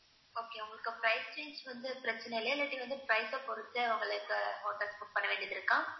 okay உங்களுக்கு pricings வந்து பிரச்சனை இல்லையா இல்லாட்டி வந்து price அ பொறுத்தே உங்களுக்கு hotelbook பண்ண வேண்டியதிருக்கா?